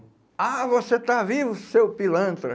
Ah, você está vivo, seu pilantra.